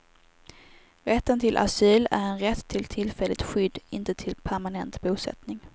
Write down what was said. Rätten till asyl är en rätt till tillfälligt skydd, inte till permanent bosättning.